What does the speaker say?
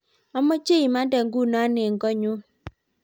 amache imante nguno eng koot nyu